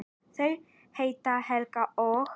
Þau heita Helga og